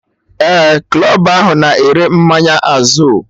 Ee, club ahụ na ere mmanya Azul